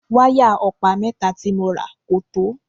Wáyà ọ̀pá mẹ́ta tí mo rà kò tó.